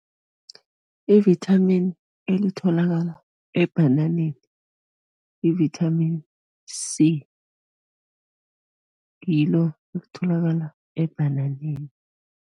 Ivithamini elitholakala ebhananeni, yi-vitamin C, ngilo elitholakala ebhananeni.